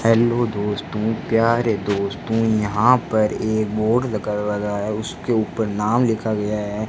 Hello दोस्तों प्यारे दोस्तों यहां पर एक बोर्ड लगा है उसके ऊपर नाम लिखा गया है।